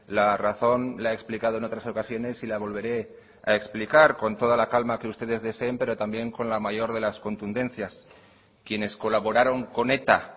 la razón la he explicado en otras ocasiones y la volveré a explicar con toda la calma que ustedes deseen pero también con la mayor de las contundencias quienes colaboraron con eta